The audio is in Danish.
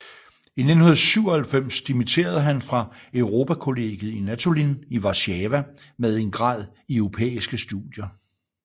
I 1997 dimitterede han fra Europakollegiet i Natolin i Warszawa med en grad i europæiske studier